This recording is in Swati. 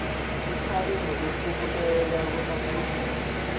sikhalo ngekwehluleka kwemaphoyisa